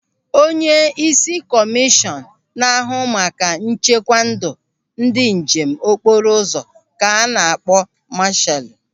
Onyeisi kọmishọn na-ahụ maka nchekwa ndụ ndị njem okporo ụzọ ka a na-akpọ masaalu.